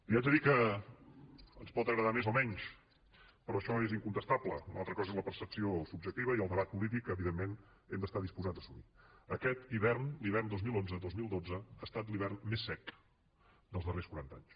li haig de dir que ens pot agradar més o menys però això és incontestable una altra cosa és la percepció subjectiva i el debat polític que evidentment hem d’estar disposats a assumir aquest hivern l’hivern dos mil onze dos mil dotze ha estat l’hivern més sec dels darrers quaranta anys